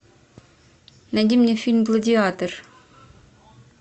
найди мне фильм гладиатор